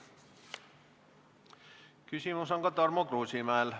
Küsimus on ka Tarmo Kruusimäel.